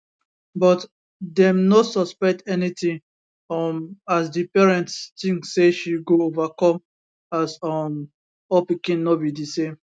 but dem no suspect anytin um as di parents tink say she go overcome as um all pikin no be di same